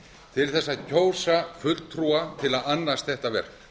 til þess að kjósa fulltrúa til að annast þetta verk